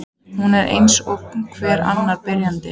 Hún var eins og hver annar byrjandi.